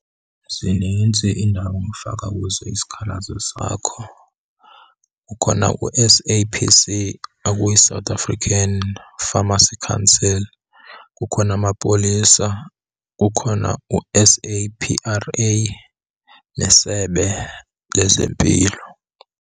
Zinintsi iindawo ofaka kuzo isikhalazo sakho. Kukhona u-S_A_P_C okuyi South African Pharmacy Council, kukhona amapolisa, kukhona u-S_A_P_R_A neSebe lezeMpilo.